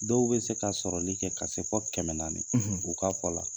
Dɔw bɛ se ka sɔrɔli kɛ ka se fɔ kɛmɛ naani u ka fɔ la.